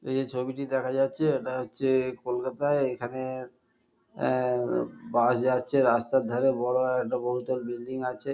এই যে ছবিটি দেখা যাচ্ছে এটা হচ্ছে-এ কলকাতায়। এখানে আ-আ-এ বাস যাচ্ছে। রাস্তার ধারে বড়ো একটা বহুতল বিল্ডিং আছে।